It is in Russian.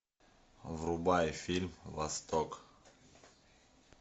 врубай фильм восток